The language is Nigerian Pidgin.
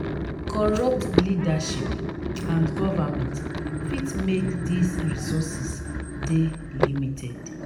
corrupt leadership and government fit make these resources de limited